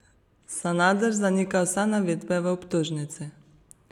Sanader zanikal vse navedbe v obtožnici.